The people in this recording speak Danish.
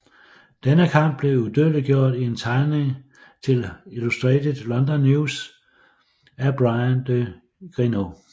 Denne kamp blev udødeliggjort i en tegning til Illustrated London News af Bryan de Grineau